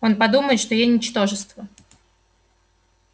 он подумает что я ничтожество